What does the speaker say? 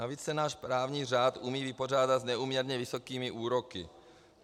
Navíc se náš právní řád umí vypořádat s neúměrně vysokými úroky.